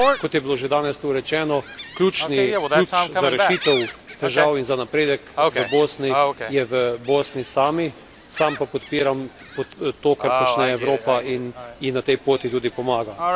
Kot je bilo že danes tu rečeno, ključni ključ za rešitev težav in za napredek v Bosni je v Bosni sami, sam pa podpiram to, kar počne Evropa in ji na tej poti tudi pomagam.